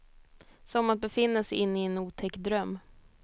Som att befinna sig inne i en otäck dröm.